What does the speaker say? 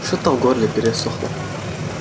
что-то в горле пересохло